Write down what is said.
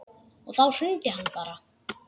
Og þá hrundi hann bara.